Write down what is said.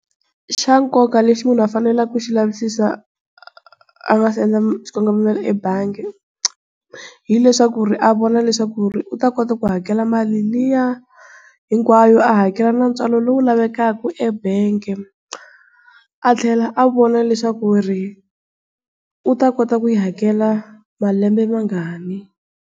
Xa nkoka lexi munhu a faneleke ku xi lavisisa a nga si endla xikongomelo ebangi hileswaku a vona leswaku u ta kota ku hakela mali liya hinkwayo a hakela na ntswalo lowu lavekaka ebangi a tlhela a vona leswaku ri u ta kota ku yi hakela malembe mangani.